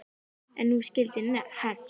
En nú skyldi hefnt.